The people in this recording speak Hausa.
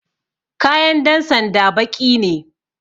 Kayan dan sanda baƙi ne